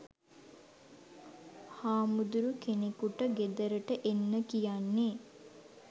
හාමුදුරු කෙනෙකුට ගෙදරට එන්න කියන්නෙ